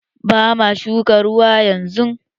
Ba ma shukan ruwa yanzu!